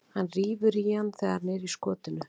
Hann rífur í hann þegar hann er í skotinu.